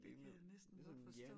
Det kan jeg næsten godt forstå